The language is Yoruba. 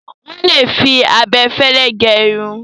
Wọ́n lè fi abẹ fẹ́lẹ́ gẹ irun.